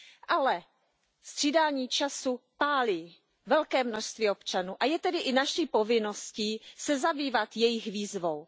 Ale střídání času pálí velké množství občanů a je tedy i naší povinností se zabývat jejich výzvou.